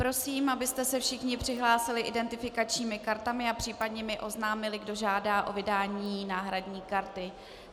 Prosím, abyste se všichni přihlásili identifikačními kartami a případně mi oznámili, kdo žádá o vydání náhradní karty.